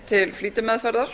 til flýtimeðferðar